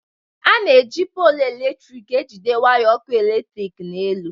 A na-eji polụ eletrik ejide waya ọkụ eletrik n'elu.